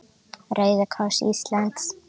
Rauði kross Íslands